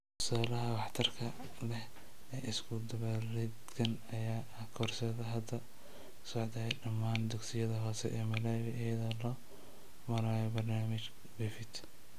Tusaalaha waxtarka leh ee isku-dubaridkan ayaa ah koorsada hadda socota ee dhammaan dugsiyada hoose ee Malawi iyada oo loo marayo barnaamijka BEFIT.